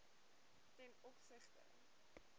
ten opsigte